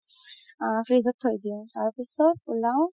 আ fridge ত থই দিও তাৰপিছত উলাও